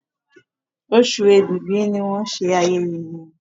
Osù Oṣù Ẹ̀bìbì ní wón ṣe ayẹyẹ yén.